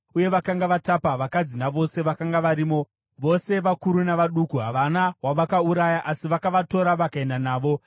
uye vakanga vatapa vakadzi navose vakanga varimo, vose vakuru navaduku. Havana wavakauraya, asi vakavatora vakaenda navo.